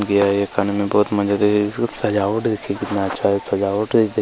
दिया है ये खाने में बहुत मजा देगा देखिए सजावट देखिए कितना अच्छा ये सजावट है |--